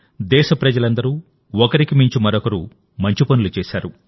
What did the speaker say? దేశప్రజలందరూ ఒకరికి మించి మరొకరు మంచి పనులు చేశారు